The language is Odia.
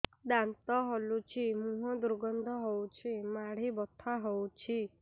ଦାନ୍ତ ହଲୁଛି ମୁହଁ ଦୁର୍ଗନ୍ଧ ହଉଚି ମାଢି ବଥା ହଉଚି